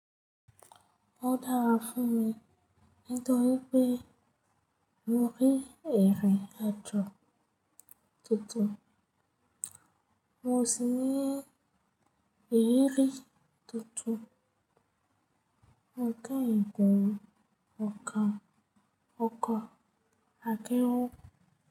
Ó dára fún mi nítorí pé mo rín irín àjo tuntun, mo sì ní ìrírí tuntun. Mo keyin gun ọkọ̀ akẹ́rù.